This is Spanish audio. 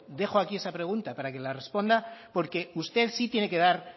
dejo aquí esa pregunta para la que responda porque usted sí